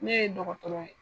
Ne ye dɔgɔtɔrɔ ye.